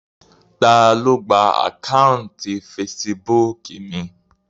Ta ló gba àkáùntì fesibúùkù mi?